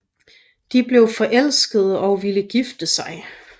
De blev forelskede og ville gifte sig